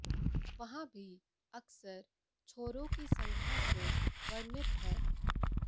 वहाँ भी अक्सर छोरों की संख्या से वर्णित है